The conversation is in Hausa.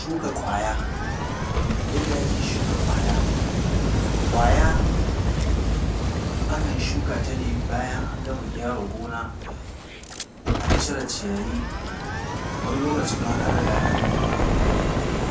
Shuka ƙwaya, yadda ake shuka ƙwaya. Ƙwaya, akan shuka ta ne bayan an gama gyara gona, an cire ciyayi, wani lokacin ma an riga an yi kunya-kunya.